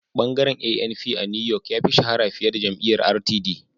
Bangaren ANP a New York ya fi shahara fiye da jam'iyyar RTD